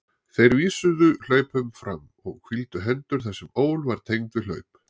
Þeir vísuðu hlaupum fram og hvíldu hendur þar sem ól var tengd við hlaup.